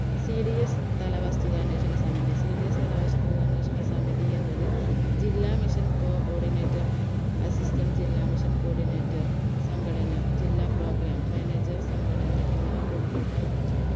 cds തല വസ്തുതാന്വേഷണസമിതി cds തല വസ്തുതാന്വേഷണസമിതി എന്നത് ജില്ലാ mission co ordinator assistant ജില്ലാ mission coordinator സംഘടന ജില്ലാ programme manager സംഘടന എന്നിവർ ഉൾപ്പെട്ട